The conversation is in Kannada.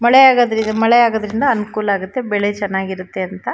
ಮಳೆಆಗೋದ್ರಿಂದ ಮಳೆಆಗೋದ್ರಿಂದ ಅನಕೂಲ ಆಗುತ್ತೆ ಬೆಳೆ ಚನ್ನಾಗಿ ಇರುತ್ತೆ ಅಂತ.